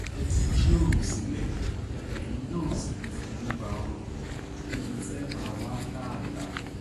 ẹ ti jí oòrùn sílẹ̀ eyín náà ò sì ní í fojú ba ooru débi tẹ́ ẹ máa wàá lálàá